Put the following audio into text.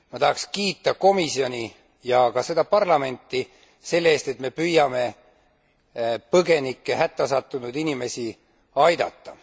Ma tahaks kiita komisjoni ja ka seda parlamenti selle eest, et me püüame põgenikke, hätta sattunud inimesi aidata.